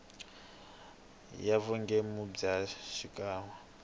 ya vugembuli bya rixaka ya